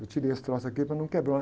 Eu tirei esse troço aqui para não quebrar.